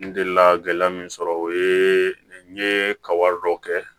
N delila gɛlɛya min sɔrɔ o ye n ye ka wari dɔw kɛ